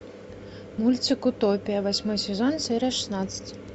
мультик утопия восьмой сезон серия шестнадцать